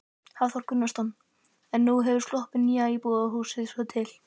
Hafþór Gunnarsson: En nú hefur sloppið nýja íbúðarhúsið svo til?